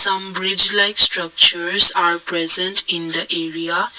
some bridge like structures are present in the area.